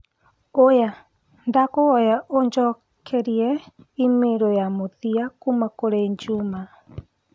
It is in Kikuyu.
oya Ndagũkũhoya ũnjokerie i-mīrū ya mũthia kũma kũri Juma.